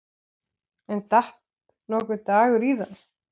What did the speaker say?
En datt nokkuð Dagur íða?